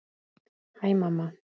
Hæ mamma.